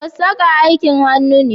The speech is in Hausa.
Sassaƙa aikin hannu ne